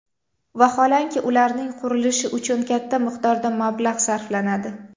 Vaholanki, ularning qurilishi uchun katta miqdorda mablag‘ sarflanadi.